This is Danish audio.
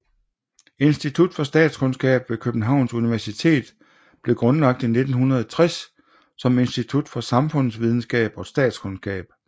Institut for Statskundskab ved Københavns Universitet blev grundlagt i 1960 som Institut for Samfundsvidenskab og Statskundskab